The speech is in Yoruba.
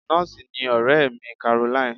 Nọ́ọ̀sì ni ọ̀rẹ́ mi Caroline.